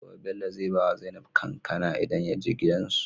Gobe Bello zai bawa zainab kankAna idan yaje gidan su